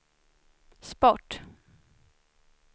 sport